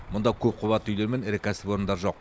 мұнда көп қабатты үйлер мен ірі кәсіпорындар жоқ